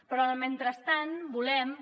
però en el mentrestant volem que